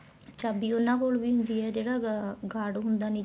ਚਾਬੀ ਉਹਨਾ ਕੋਲ ਵੀ ਹੁੰਦੀ ਏ ਜਿਹੜਾ guard ਹੁੰਦਾ ਨੀਚੇ